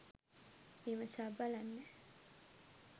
විමසා බලන්න.